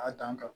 A dan kan